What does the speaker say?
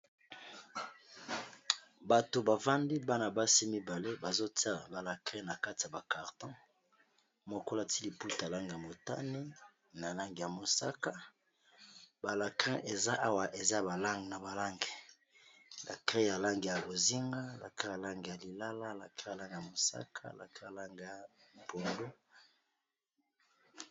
bato bafandi bana basi mibale bazotia balacri na kati ya bacarton mokola ti liputa lange ya motane na lange ya mosaka balacrin eza awa eza balange na balange lacre ya lange ya kozinga lakre yalange ya lilala lacre yalange ya mosaka lakre alange ya polu